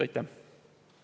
Aitäh!